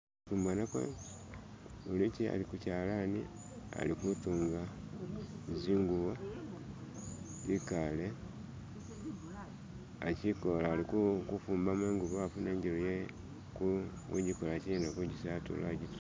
Imbonako ulichi ali kuchalani alikutunga zingubo ikale achikola alikufumbamo ingubo afune ijelu ye ku kujikolachina kujisatulula agitusemo